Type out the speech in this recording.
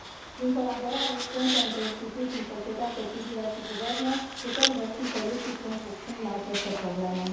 Prin colaborare strânsă între instituții, societatea civilă și guverne putem găsi soluții punct cu punct la aceste probleme.